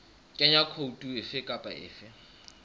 kenya khoutu efe kapa efe